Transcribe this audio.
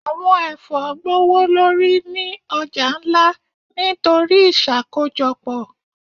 Awọn ẹfọ gbowolori ni ọja nla nitori iṣakojọpọ.